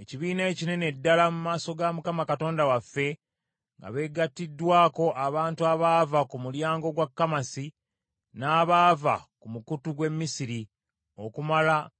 ekibiina ekinene ddala mu maaso ga Mukama Katonda waffe, nga beegatiddwako abantu abaava ku mulyango gwa Kamasi n’abaava ku mukutu gw’e Misiri, okumala ennaku kkumi na nnya.